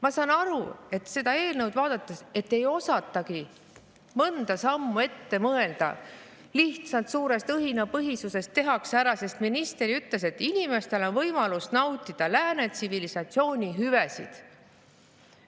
Ma saan aru, seda eelnõu vaadates, et ei osatagi mõnda sammu ette mõelda, lihtsalt suure õhinapõhisusega tehakse see ära, sest minister ütles, et inimestel on nii võimalus nautida lääne tsivilisatsiooni hüvesid.